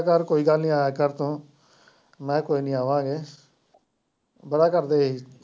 ਕਹਿੰਦਾ ਚੱਲ ਕੋਈ ਗੱਲ ਨੀ ਆਇਆ ਕਰ ਤੂੰ ਮੈ ਕਿਹਾ ਕੋਈ ਨੀ ਆਵਾਂਗੇ ਬੜਾ ਕਰਦੇ ਹੀ।